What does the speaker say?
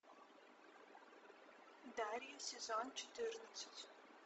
дарья сезон четырнадцать